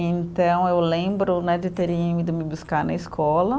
Então, eu lembro né de terem ido me buscar na escola.